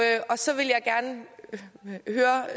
så ville